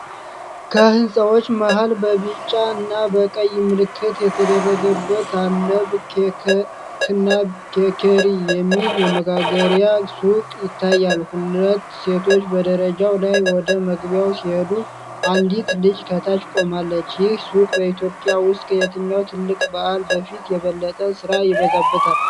ከህንጻዎች መሃል በቢጫና በቀይ ምልክት የተደረገበት "አለበ ኬክና ቤከሪ" የሚል የመጋገሪያ ሱቅ ይታያል። ሁለት ሴቶች በደረጃው ላይ ወደ መግቢያው ሲሄዱ፣ አንዲት ልጅ ከታች ቆማለች። ይህ ሱቅ በኢትዮጵያ ውስጥ ከየትኛው ትልቅ በዓል በፊት የበለጠ ሥራ ይበዛበታል?